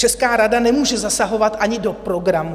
Česká rada nemůže zasahovat ani do programu.